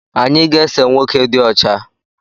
Anyị ga ese nwoke dị ọcha